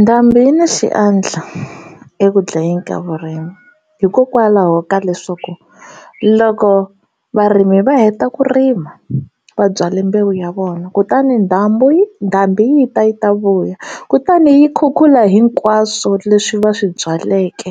Ndhambi yi na xiandla eku dlayeni ka vurimi hikokwalaho ka leswaku loko varimi va heta ku rima va byale mbewu ya vona kutani dyambu ndhambi yi ta yi ta vuya kutani yi khukhula hinkwaswo leswi va swi byaleke